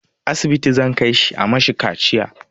Asibiti zan kai shi a mashi kaciya